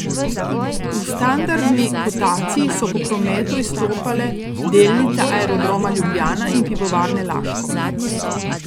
V standardni kotaciji so po prometu izstopale delnice Aerodroma Ljubljana in Pivovarne Laško.